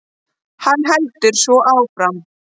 Hann heldur svo áfram